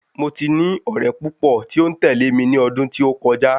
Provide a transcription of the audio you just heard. Mo ti ní ọ̀rẹ́ púpọ̀ tí ó ń tẹ̀lé mi ní ọdún tí ó kọjá